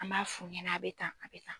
An b'a f'u ɲɛna a bɛ tan a bɛ tan.